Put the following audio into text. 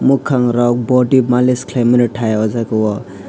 mwkang rok body malish khlaimani thai o jaga o.